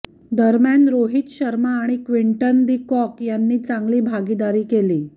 दरम्यान रोहित शर्मा आणि Quinton de Kock यांनी चांगली भागीदारी केली